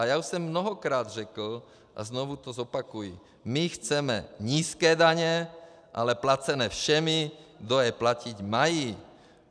A já už jsem mnohokrát řekl a znovu to zopakuji: my chceme nízké daně, ale placené všemi, kdo je platit mají.